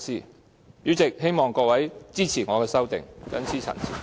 代理主席，我希望各位支持我的修正案，謹此陳辭。